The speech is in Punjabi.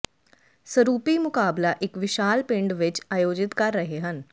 ਸਰੂਪੀ ਮੁਕਾਬਲਾ ਇੱਕ ਵਿਸ਼ਾਲ ਪਿੰਡ ਵਿਚ ਆਯੋਜਿਤ ਕਰ ਰਹੇ ਹਨ